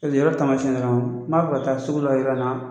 Taamasiɲɛ yira na n b'a fɛ ka taa sugu la yɔrɔ in na.